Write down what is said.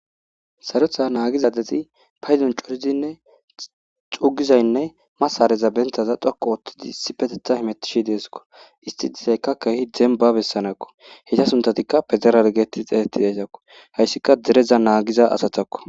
sarotha naagizadeti paydon coridinne chugizaynne masareza bentaza dhoku oothtidi sipetetha himettishi deeskko isti dizaykka kehi demba bessanakko hita suntatikka pezeralgeetti xeetetidaytakko hayssika dereza naagiza asatakko